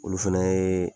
Olu fɛnɛ ye